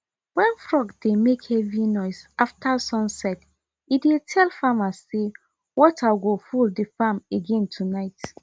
when frog dey make heavy noise after sun set e dey tell farmers say water go full the farm again tonight